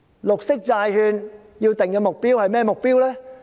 綠色債券應該有甚麼目標？